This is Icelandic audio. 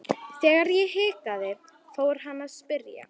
Þegar ég hikaði fór hann að spyrja.